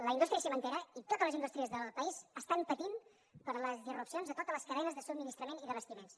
la indústria cimentera i totes les indústries del país estan patint per les irrupcions de totes les cadenes de subministrament i d’abastiments